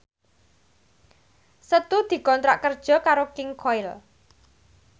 Setu dikontrak kerja karo King Koil